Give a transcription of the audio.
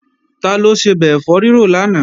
Taló sebẹ̀ ẹ̀fọ́ rírò lánàá?